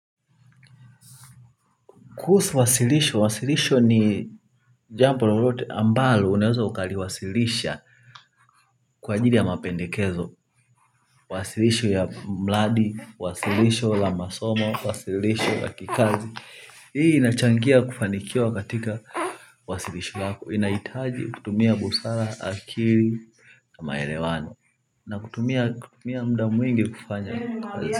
Kuhusu wasilisho, wasilisho ni jambo lolote ambalo unaezo ukaliwasilisha kwa ajili ya mapendekezo, wasilisho ya mradi, wasilisho la masomo, wasilisho la kikazi. Hii inachangia kufanikiwa katika wasilisho lako. Inahitaji kutumia busara akili maelewano na kutumia muda mwingi kufanya.